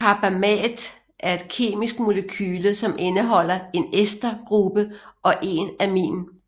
Carbamat er et kemisk molekyle som indeholder en ester gruppe og en amin